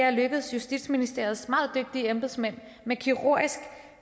er lykkedes justitsministeriets meget dygtige embedsmænd med kirurgisk